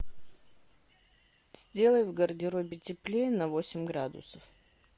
сделай в гардеробе теплее на восемь градусов